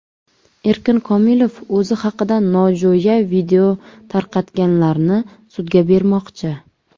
Erkin Komilov o‘zi haqida nojo‘ya video tarqatganlarni sudga bermoqchi.